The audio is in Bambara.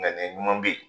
Nga ne ɲuman bɛ yen